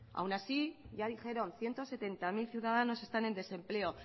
aún así ya dijeron ciento setenta mil ciudadanos están en desempleo